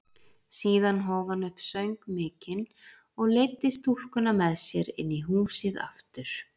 Síðan hóf hann upp söng mikinn og leiddi stúlkuna með sér inn í húsið aftur.